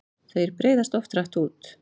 Þeir breiðast oft hratt út.